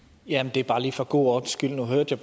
det er bare lige for god ordens skyld nu hørte jeg